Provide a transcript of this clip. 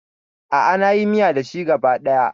A'a, na yi miya da shi gaba ɗaya.